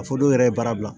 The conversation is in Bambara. A fɔ dɔw yɛrɛ ye baara bila